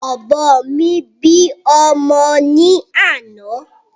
Ọ̀bọ mi bí ọmọ ni àná